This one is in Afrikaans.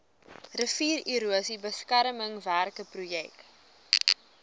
riviererosie beskermingswerke projek